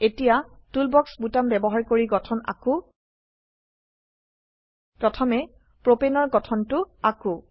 এতিয়া টুলবাক্স বোতাম ব্যবহাৰ কৰি গঠন আকো প্ৰথমে প্ৰোপেন এৰ গঠনটো আকো